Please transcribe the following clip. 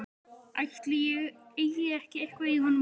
Ætli ég eigi ekki eitthvað í honum líka.